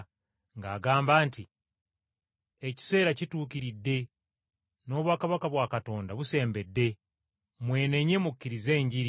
ng’agamba nti, “Ekiseera kituukiridde, n’obwakabaka bwa Katonda busembedde! Mwenenye mukkirize Enjiri.”